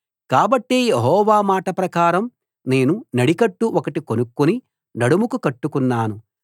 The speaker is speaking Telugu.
కాబట్టి యెహోవా మాట ప్రకారం నేను నడికట్టు ఒకటి కొనుక్కుని నడుముకు కట్టుకున్నాను